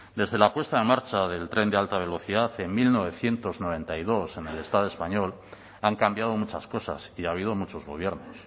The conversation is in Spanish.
desde la puesta en marcha del tren de alta velocidad en mil novecientos noventa y dos en el estado español han cambiado muchas cosas y ha habido muchos gobiernos